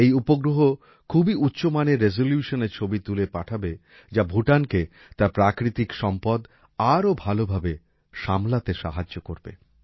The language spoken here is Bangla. এই উপগ্রহ খুবই উচ্চমানের রেসলিউসনের ছবি তুলে পাঠাবে যা ভুটানকে তার প্রাকৃতিক সম্পদ আরো ভাল ভাবে সামলাতে সাহায্য করবে